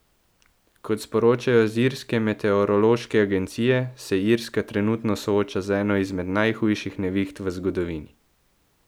Kot sporočajo z irske meteorološke agencije, se Irska trenutno sooča z eno izmed najhujših neviht v zgodovini.